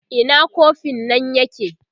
Ina kofin nan yake?